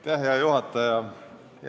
Hea juhataja!